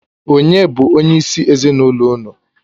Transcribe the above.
Ònye bụ onyeisi ezinụlọ unu?